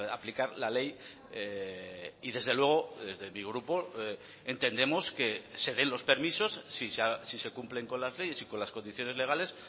aplicar la ley y desde luego desde mi grupo entendemos que se den los permisos si se cumplen con las leyes y con las condiciones legales